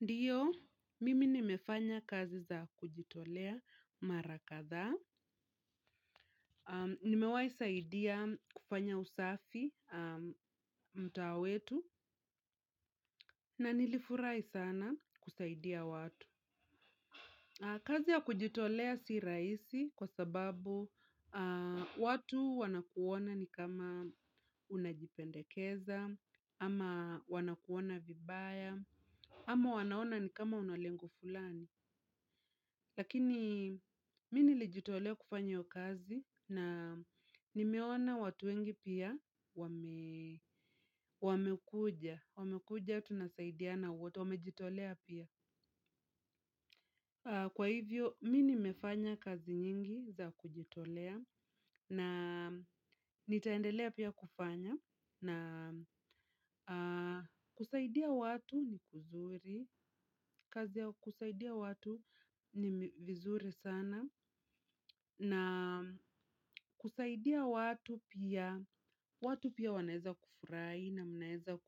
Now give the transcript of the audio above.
Ndiyo, mimi nimefanya kazi za kujitolea mara kadhaa. Nimewahi saidia kufanya usafi mtaa wetu na nilifurahi sana kusaidia watu. Kazi ya kujitolea si rahisi kwa sababu watu wanakuona ni kama unajipendekeza, ama wanakuona vibaya, ama wanaona ni kama unalengo fulani. Lakini, mimi nilijitolea kufanya hiyo kazi na nimeona watu wengi pia wamekuja. Wamekuja tunsaidiana wote, wamejitolea pia. Kwa hivyo, mimi nimefanya kazi nyingi za kujitolea na nitaendelea pia kufanya. Na kusaidia watu ni kuzuri, kazi ya kusaidia watu ni vizuri sana. Na kusaidia watu pia, watu pia wanaweza kufurahi na mnaweza